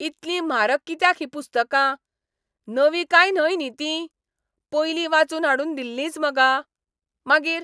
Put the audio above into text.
इतलीं म्हारग कित्याक हीं पुस्तकां? नवीं काय न्हय न्ही तीं? पयलीं वाचून हाडून दिल्लींच मगा? मागीर?